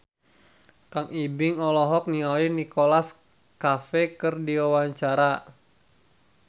Kang Ibing olohok ningali Nicholas Cafe keur diwawancara